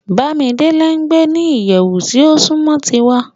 Bamidele n gbe ni iyẹwu ti o sunmọ tiwa